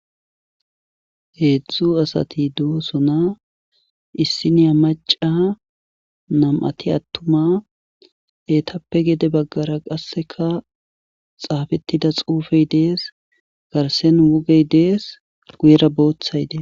Hedzdzu asati dosonna,issinya maca, nam'ati atuma, etappe gede bagara qaseka xaafetida xuufey Des,garsen hugey Des, guyera boothay Des.